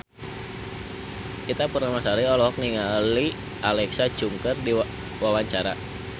Ita Purnamasari olohok ningali Alexa Chung keur diwawancara